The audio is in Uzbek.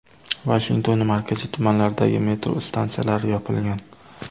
Vashingtonning markaziy tumanlaridagi metro stansiyalari yopilgan.